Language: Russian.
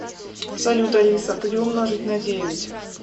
салют алиса три умножить на девять